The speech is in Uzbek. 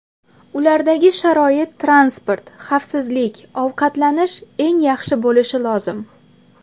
Ulardagi sharoit transport, xavfsizlik, ovqatlanish eng yaxshi bo‘lishi lozim.